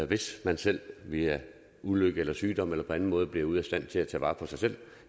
hvis man selv via ulykke sygdom eller på anden måde bliver ude af stand til at tage vare på sig selv